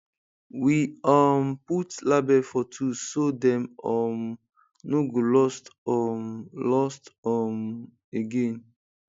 we um put label for tools so dem um no go lost um lost um again